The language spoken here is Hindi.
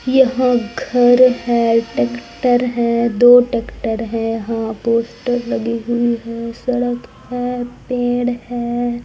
यह घर है टेक्टर है दो टेक्टर है हां पोस्टर लगी हुई है सड़क है। पेड़ है।